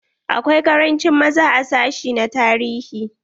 Akwai karanci maza a sashi na tarihi.